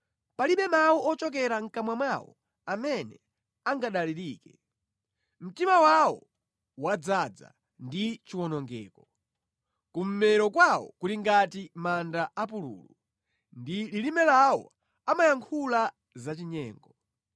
Palibe mawu ochokera mʼkamwa mwawo amene angadalirike; mtima wawo wadzaza ndi chiwonongeko. Kummero kwawo kuli ngati manda apululu; ndi lilime lawo amayankhula zachinyengo.